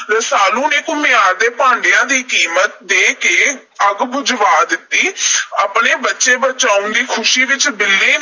ਰਸਾਲੂ ਨੇ ਘੁਮਿਆਰ ਨੂੰ ਭਾਂਡਿਆਂ ਦੀ ਕੀਮਤ ਦੇ ਕੇ ਅੱਗ ਬੁਝਵਾ ਦਿੱਤੀ। ਆਪਣੇ ਬੱਚੇ ਬਚਾਉਣ ਦੀ ਖੁਸ਼ੀ ਵਿੱਚ ਬਿੱਲੀ